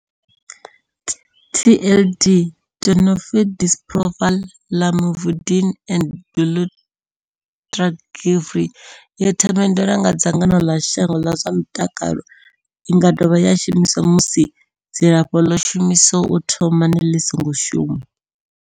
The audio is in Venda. TLD Tenofovir disoproxil, Lamivudine and dolutegravir yo themendelwa nga dzangano ḽa shango ḽa zwa mutakalo. I nga dovha ya shumiswa musi dzilafho ḽo shumiswaho u thomani ḽi songo shuma.